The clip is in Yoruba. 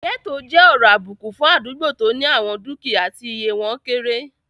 Gẹ́ẹ́tò jẹ́ ọ̀rọ̀ àbùkù fún àdúgbò tó ní àwọn dúkìyá tí iye wọ́n kéré